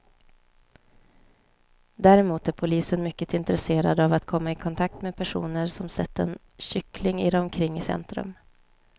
Däremot är polisen mycket intresserad av att komma i kontakt med personer som sett en kyckling irra omkring i centrum.